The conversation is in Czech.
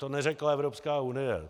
To neřekla Evropská unie.